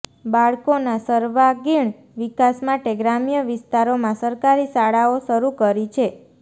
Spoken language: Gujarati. બાળકોના સર્વાગીણ વિકાસ માટે ગ્રામ્ય વિસ્તારોમા સરકારી શાળાઓ શરુ કરી છે